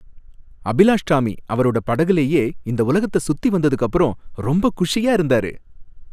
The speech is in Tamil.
அபிலாஷ் டாமி அவரோட படகுலயே இந்த உலகத்த சுத்தி வந்ததுக்கப்பறம் ரொம்ப குஷியா இருந்தாரு.